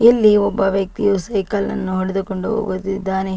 ಇಲ್ಲಿ ಒಬ್ಬ ವ್ಯಕ್ತಿಯು ಸೈಕಲ್ ನ್ನು ಹೊಡೆದುಕೊಂಡು ಹೋಗುತ್ತಿದ್ದಾನೆ.